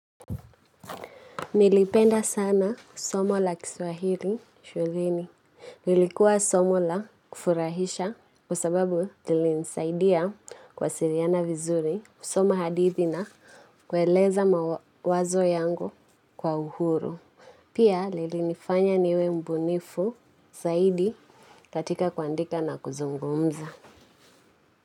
Nilipenda sana ku somo la kiswahili shuleni. Lilikuwa somo la kufurahisha kwasababu lilinisaidia kuwasiliana vizuri, kusomo hadithi na kweleza mawazo yangu kwa uhuru. Pia lilifanya niwe mbunifu zaidi katika kuandika na kuzungumza.